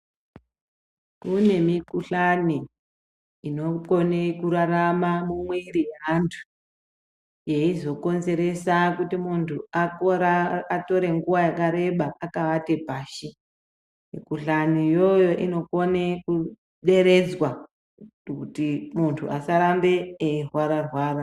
Kunemikhuhlane, inokone kurarama mumwiri e antu, eyizokonzeresa kuti muntu atore nguwa yakareba akavate pashi. Mikhuhlani yoyo inokone kuderedzwa kuti muntu asarambe erwara rwara.